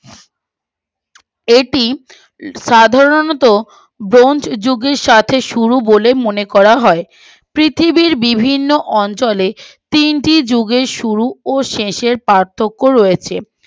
এটি সাধারণত ব্রোঞ্জ যুগের সাথে শুরু বলে মনে করা হয় পৃথিবীর বিভিন্ন অঞ্চলে তিনটি যুগের শুরু ও শেষের পার্থক্য রয়েছে